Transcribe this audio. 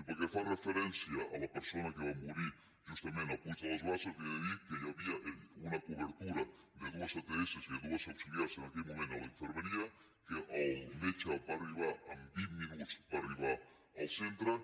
i pel que fa referència a la persona que va morir justament a puig de les basses li he de dir que hi havia una cobertura de dues ats i de dues auxiliars en aquell moment a la infermeria que el met·ge va arribar en vint minuts al centre